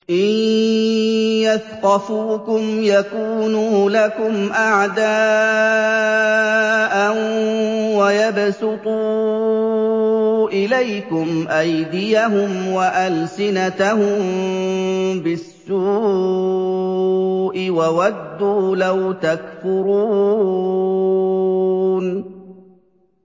إِن يَثْقَفُوكُمْ يَكُونُوا لَكُمْ أَعْدَاءً وَيَبْسُطُوا إِلَيْكُمْ أَيْدِيَهُمْ وَأَلْسِنَتَهُم بِالسُّوءِ وَوَدُّوا لَوْ تَكْفُرُونَ